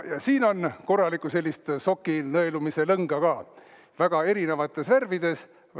Ja siin on korralikku soki nõelumise lõnga ka väga erinevates värvides.